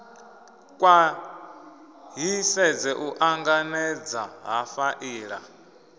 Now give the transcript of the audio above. khwaṱhisedze u ṱanganedza ha faela